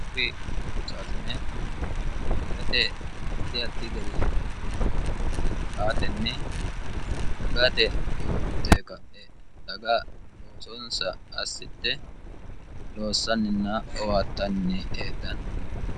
uurri loosaasine dagate haddi haddi gari owaante aatenni dagate uurri teeqa e daga loosonsa assitte loossanninna owaattanni eedhanni